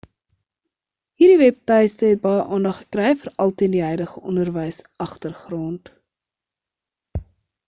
hierdie webtuistes het baie aandag gekry veral teen die huidige onderwysagtergrond